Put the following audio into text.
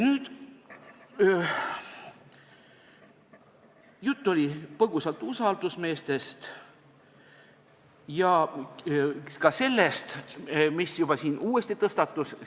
Põgusalt oli juttu usaldusmeestest ja ka sellest, mis siin uuesti tõstatus.